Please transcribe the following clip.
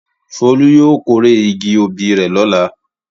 Folú yóò kórè igi obì rẹ̀ lọ́la.